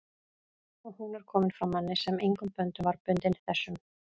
og hún er komin frá manni, sem engum böndum var bundinn þessum